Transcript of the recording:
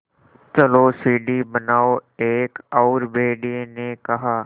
चलो सीढ़ी बनाओ एक और भेड़िए ने कहा